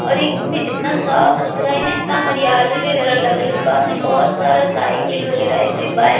और इ में इतना साफ-सुथरा हेय ने इतना हरियली वगैरा लगल हेय पास में बहुत सारा साइकिल वगैरा हेय कोई बाइक --